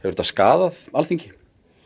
þetta skaðað þingið